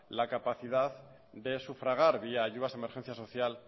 la capacidad de sufragar vía ayudas de emergencia social